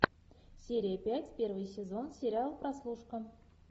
серия пять первый сезон сериал прослушка